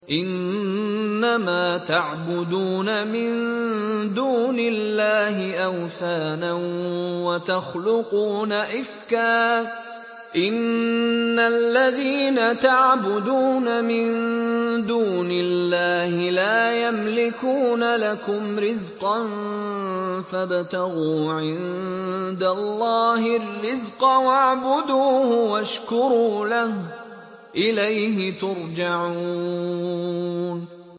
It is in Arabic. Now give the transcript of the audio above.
إِنَّمَا تَعْبُدُونَ مِن دُونِ اللَّهِ أَوْثَانًا وَتَخْلُقُونَ إِفْكًا ۚ إِنَّ الَّذِينَ تَعْبُدُونَ مِن دُونِ اللَّهِ لَا يَمْلِكُونَ لَكُمْ رِزْقًا فَابْتَغُوا عِندَ اللَّهِ الرِّزْقَ وَاعْبُدُوهُ وَاشْكُرُوا لَهُ ۖ إِلَيْهِ تُرْجَعُونَ